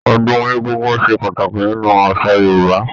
Ọdún egúngún ṣe pàtàkì nínú àṣà Yorúbá